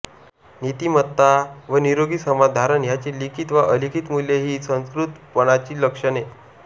नीतिमत्ता व निरोगी समाज धारणा ह्याची लिखित वा अलिखित मूल्ये ही सुसंस्कृतपणाची लक्षणे